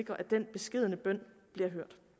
jeg